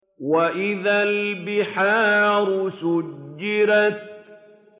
وَإِذَا الْبِحَارُ سُجِّرَتْ